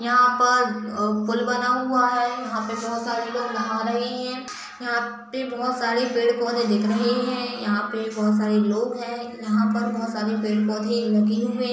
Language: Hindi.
यहां पर अ ब पुल बना हुआ है। यहां पर बहोत सारे लोग नहा रहे हैं। यहाँ पे बहोत सारे पेड़-पौधे दिख रहे हैं। यहाँ पे बोहोत सारे लोग हैं। यहां पर बहोत सारे पेड़-पौधे लगे हुए --